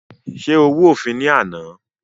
Ṣé o rú òfin ní àná?